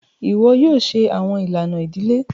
Iwọ yoo ṣe awọn ilana idile!